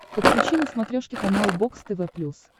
подключи на смотрешке канал бокс тв плюс